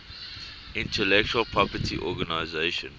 intellectual property organization